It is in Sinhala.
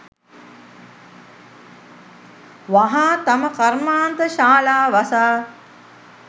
වහා තම කර්මාන්ත ශාලා වසා